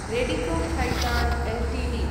Radico Khaitan Ltd